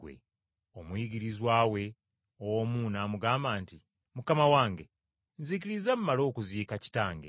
Omuyigirizwa we omu n’amugamba nti, “Mukama wange, nzikiriza mmale okugenda okuziika kitange.”